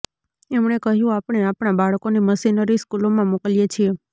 એમણે કહ્યું આપણે આપણા બાળકોને મિશનરી સ્કૂલોમાં મોકલીએ છીએ